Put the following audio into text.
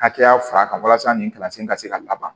Hakɛya fara kan walasa nin kalansen ka se ka laban